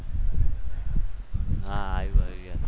હા આવ્યું યાદ.